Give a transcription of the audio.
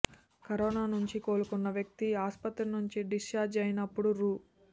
corona నుంచి కోలుకున్న వ్యక్తి ఆస్పత్రి నుంచి డిశ్చార్జి అయినప్పుడు రూ